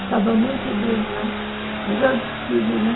Estava muito bem lá, mas é o destino, né?